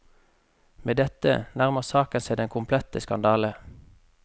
Med dette nærmer saken seg den komplette skandale.